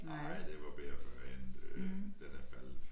Nej det var bedre førhen den er faldet